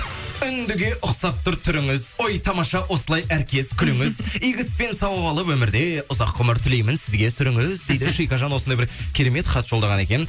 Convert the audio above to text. үндіге ұқсап тұр түріңіз ой тамаша осылай әркез күліңіз игі іспен сауап алып өмірде ұзақ ғұмыр тілеймін сізге сүріңіз дейді шикежан осындай бір керемет хат жолдаған екен